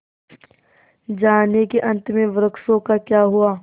जानिए कि अंत में वृक्षों का क्या हुआ